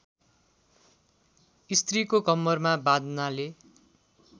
स्त्रीको कम्मरमा बाँध्नाले